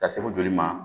Ka segu joli ma